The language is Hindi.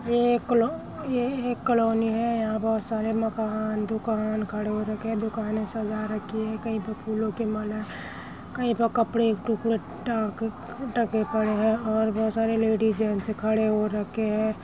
ये एक कालो अ ये एक कालोनी है | यहाँ बहुत सारे मकान दुकान खड़े हो रखे है | दुकानें सजा रखें है | कही पे फूलों की माला कही पे कपड़े टुकड़े टाक-टके पड़े है और बहोत सारे लेडीज जेन्ट्स खड़े हो रखें है |